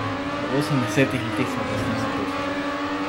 V osemdesetih letih sva posnela pet filmov.